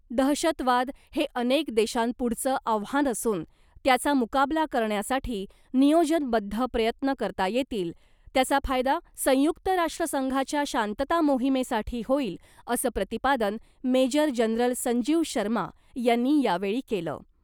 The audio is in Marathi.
दहशतवाद हे अनेक देशांपुढचं आव्हान असून, त्याचा मुकाबला करण्यासाठी नियोजनबद्ध प्रयत्न करता येतील , त्याचा फायदा संयुक्त राष्ट्र संघाच्या शांतता मोहिमेसाठी होईल , असं प्रतिपादन मेजर जनरल संजीव शर्मा यांनी यावेळी केलं .